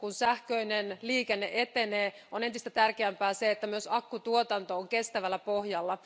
Kun sähköinen liikenne etenee, on entistä tärkeämpää, että myös akkutuotanto on kestävällä pohjalla.